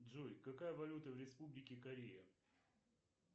джой какая валюта в республике корея